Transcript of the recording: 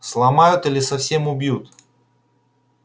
сломают или совсем убьют